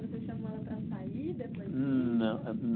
Você chamou ela para sair depois disso? Não